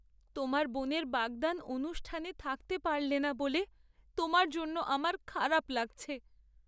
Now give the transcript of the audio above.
তোমার বোনের বাগদান অনুষ্ঠানে থাকতে পারলে না বলে তোমার জন্য আমার খারাপ লাগছে।